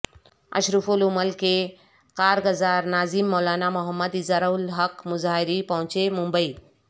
اشرف العلوم کے کا رگزار ناظم مولانا محمد اظہار الحق مظاہری پہونچے ممبئی